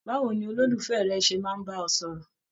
Báwo ní ololufẹ rẹ ṣe máa n bá ọ sọ̀rọ̀?